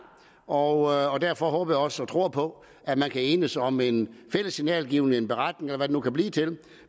og derfor håber jeg også og tror på at man kan enes om en fælles signalgivning en beretning eller hvad det nu kan blive til